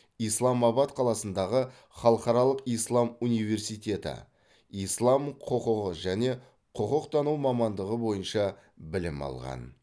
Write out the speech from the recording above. исламабад қаласындағы халықаралық ислам университеті ислам құқығы және құқықтану мамандығы бойынша білім алған